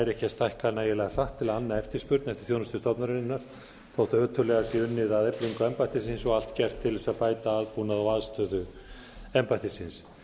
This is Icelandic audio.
ekki að stækka nægilega hratt til að anna eftirspurn eftir þjónustu stofnunarinnar þótt ötullega sé unnið að eflingu embættisins og allt gert til þess að bæta aðbúnað og aðstöðu embættisins